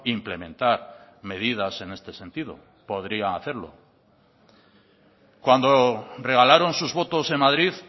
implementar medidas en este sentido podría hacerlo cuando regalaron sus votos en madrid